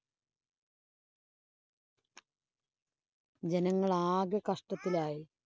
ജനങ്ങള്‍ ആകെ കഷ്ടത്തിലായി.